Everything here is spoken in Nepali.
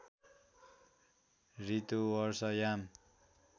ऋतु वर्षा याम